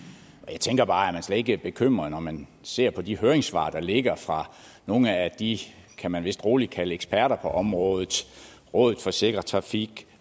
og jeg tænker bare om man slet ikke er bekymret når man ser de høringssvar der ligger fra nogle af de kan man vist roligt kalde eksperter på området rådet for sikker trafik